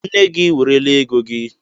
Nne gị werela ego gị